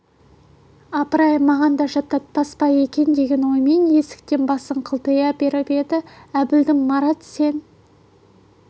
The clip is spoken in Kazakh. апыр-ай маған да жаттатпас па екен деген оймен есіктен басын қылтита беріп еді әбілдің марат сен